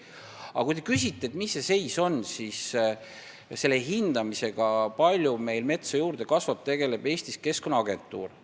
Aga kui te küsite, mis see seis on, siis selle hindamisega, kui palju meil metsa juurde kasvab, tegeleb Eestis Keskkonnaagentuur.